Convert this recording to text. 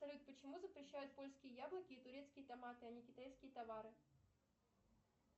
салют почему запрещают польские яблоки и турецкие томаты а не китайские товары